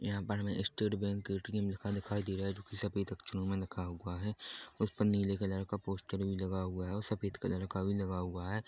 यहां पर हमे स्टेट बैंक ए_टीए_एम लिखा दिखाई दे रहा है जो की सफेद अक्षरों में लिखा हुआ है उसमें नीले कलर का पोस्टर भी लगा हुआ है और सफेद कलर का भी लगा हुआ है।